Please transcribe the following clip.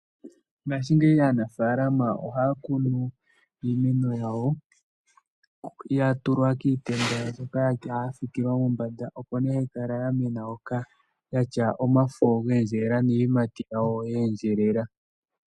Mongashingeyi aanafalama ohaya kunu iimeno yawo, ya tulwa kiitenda mbyoka ya fikilwa mombanda, opo ne hayi kala ya mena hoka, yatya omafo ga endjelela niiyimati yawo yeendjelela.